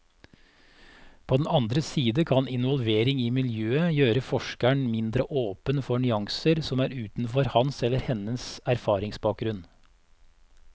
På den andre side kan involvering i miljøet gjøre forskeren mindre åpen for nyanser som er utenfor hans eller hennes erfaringsbakgrunn.